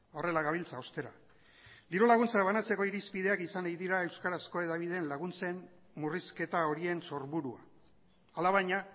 horrela gabiltza ostera diru laguntzak banatzeko irizpideak izan nahi dira euskarazko hedabideen laguntzen murrizketa horien sorburua alabaina